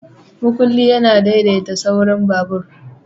Makullin yana daidaita saurin babur.